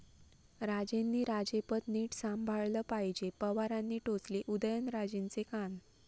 राजेंनी राजेपद नीट सांभाळलं पाहिजे, पवारांनी टोचले उदयनराजेंचे कान